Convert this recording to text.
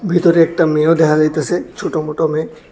ভিতরে একটা মেয়েও দেখা যাইতাসে ছোটমোটো মেয়ে।